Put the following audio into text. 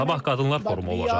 Sabah qadınlar forumu olacaq.